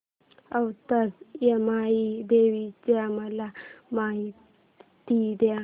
औंधच्या यमाई देवीची मला माहिती दे